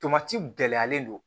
Tomati gɛlɛyalen don